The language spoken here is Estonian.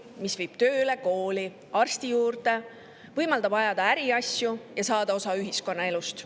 See viib tööle, kooli, arsti juurde, võimaldab ajada äriasju ja saada osa ühiskonnaelust.